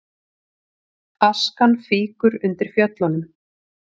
Askan fýkur undir Fjöllunum